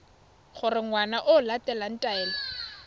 gore ngwana o latela taelo